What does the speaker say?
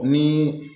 Ni